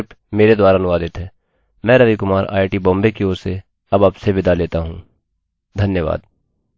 इस ट्यूटोरियल में बस इतना ही है मैं रवि कुमार आईआईटी बॉम्बे की ओर से अब आपसे विदा लेता हूँ धन्यवाद